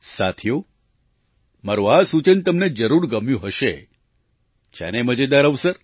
સાથીઓ મારું આ સૂચન તમને જરૂર ગમ્યું હશે છે ને મજેદાર અવસર